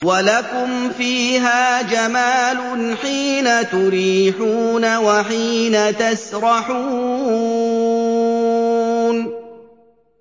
وَلَكُمْ فِيهَا جَمَالٌ حِينَ تُرِيحُونَ وَحِينَ تَسْرَحُونَ